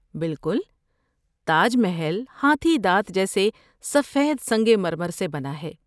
بالکل۔ تاج محل ہاتھی دانت جیسے سفید سنگ مرمر سے بنا ہے۔